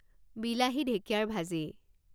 বিলাহী, ঢেঁকিয়াৰ ভাজি